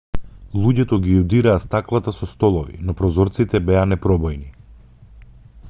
луѓето ги удираа стаклата со столови но прозорците беа непробојни